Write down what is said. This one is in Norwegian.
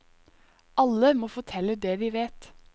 Alle må fortelle det de vet.